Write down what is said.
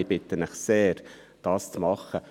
Ich bitte Sie sehr, dies zu tun.